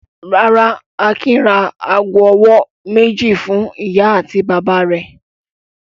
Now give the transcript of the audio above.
Rárá, Akin ra ago-ọwọ́ méjì fún ìyá àti bàbá rẹ̀.